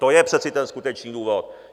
To je přece ten skutečný důvod.